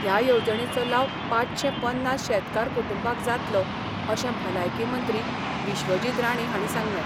ह्या येवजणेचो लाव पांचशे पन्नास शेतकार कुटुंबाक जातलो अशें भलायकी मंत्री विश्वजीत राणे हांणी सांगलें.